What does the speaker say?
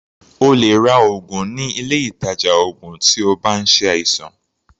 O lè ra oògùn ní ilé ìtàjà oògùn tí o bá ń ṣe àìsàn.